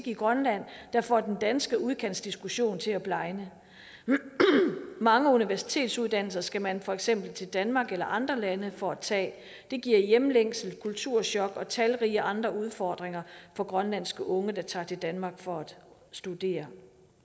i grønland der får den danske udkantsdiskussion til at blegne mange universitetsuddannelser skal man for eksempel til danmark eller andre lande for at tage det giver hjemlængsel kulturchok og talrige andre udfordringer for grønlandske unge der tager til danmark for at studere